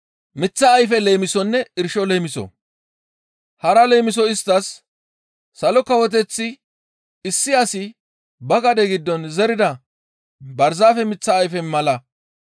Hara leemiso isttas, «Salo Kawoteththi issi asi ba gade giddon zerida barzaafe miththa ayfe mala.